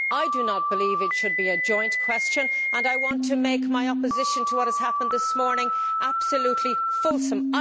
I do not believe it should be a joint question, and I want to make my opposition to what has happened this morning absolutely fulsome.